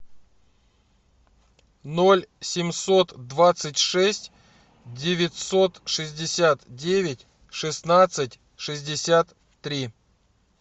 ноль семьсот двадцать шесть девятьсот шестьдесят девять шестнадцать шестьдесят три